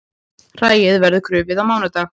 Hræið verður krufið á mánudag